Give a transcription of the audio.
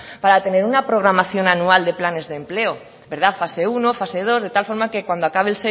para tener una programación anual de planes de empleo verdad fase uno fase dos de tal forma que cuando pase